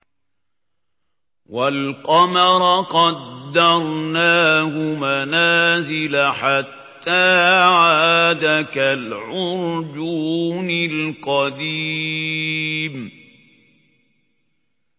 وَالْقَمَرَ قَدَّرْنَاهُ مَنَازِلَ حَتَّىٰ عَادَ كَالْعُرْجُونِ الْقَدِيمِ